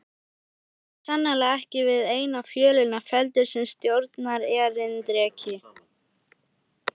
Maðurinn var sannarlega ekki við eina fjölina felldur sem stjórnarerindreki!